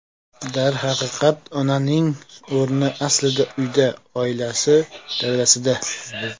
Darhaqiqat, onaning o‘rni aslida uyda, oilasi davrasida.